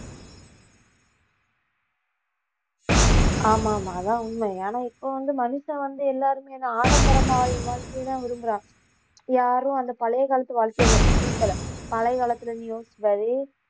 ஆமா ஆமா அதான் உண்மை ஏன்னா இப்ப வந்து மனுஷன் வந்து எல்லாருமே நான் ஆடம்பரமா வாழ்க்கையைதான் விரும்புறான் யாரும் அந்த பழைய காலத்து வாழ்க்கைய விரும்பல பழைய காலத்துல நீ யோசிச்சு பாரு